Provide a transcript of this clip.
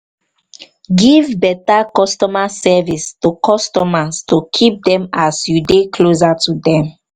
give better customer service to customers to keep them as you dey closer to them